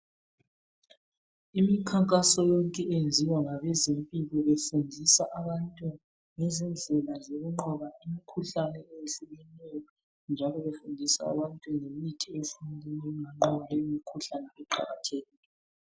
Imikhankaso yonke eyenziwa ngabezempilo befundisa abantu ngezindlela zokunqoba imkhuhlane eyehlukeneyo njalo befundisa abantu ngemithi yesintu enganqoba imikhuhlane eqhakathekileyo